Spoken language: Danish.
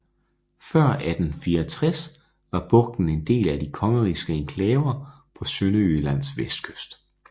Før 1864 var bugten en del af de kongerigske enklaver på Sønderjyllands vestkyst